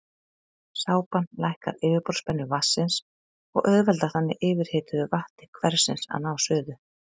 Sápan lækkar yfirborðsspennu vatnsins og auðveldar þannig yfirhituðu vatni hversins að ná suðu.